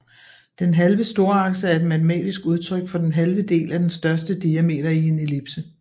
Den halve storakse er et matematisk udtryk for den halve del af den største diameter i en ellipse